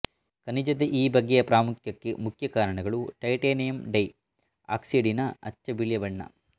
ಖನಿಜದ ಈ ಬಗೆಯ ಪ್ರಾಮುಖ್ಯಕ್ಕೆ ಮುಖ್ಯ ಕಾರಣಗಳು ಟೈಟೇನಿಯಂ ಡೈ ಆಕ್ಸೈಡಿನ ಅಚ್ಚ ಬಿಳಿಯ ಬಣ್ಣ